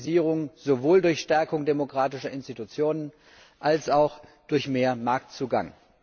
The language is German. Stabilisierung sowohl durch Stärkung demokratischer Institutionen als auch durch mehr Marktzugang.